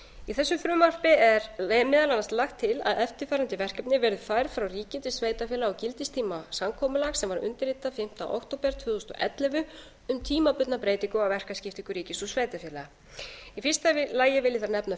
í þessu frumvarpi er meðal annars lagt til að eftirfarandi verkefni færð frá ríki til sveitarfélaga á gildistíma samkomulags sem var undirritað fimmta október tvö þúsund og ellefu um tímabundna breytingu á verkaskiptingu ríkis og sveitarfélaga í fyrsta lagi vil ég þar nefna